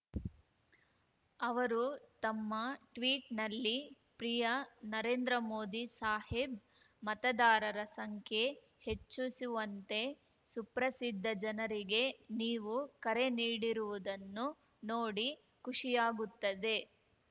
ಅವರು ತಮ್ಮ ಟ್ವೀಟ್‌ನಲ್ಲಿ ಪ್ರಿಯ ನರೇಂದ್ರ ಮೋದಿ ಸಾಹಿಬ್ ಮತದಾರರ ಸಂಖ್ಯೆ ಹೆಚ್ಚಿಸುವಂತೆ ಸುಪ್ರಸಿದ್ಧ ಜನರಿಗೆ ನೀವು ಕರೆ ನೀಡಿರುವುದನ್ನು ನೋಡಿ ಖುಷಿಯಾಗುತ್ತದೆ